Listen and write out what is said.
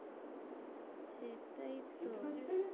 সেটাই তো, আর্জেন্টিনা জিতে গেছে?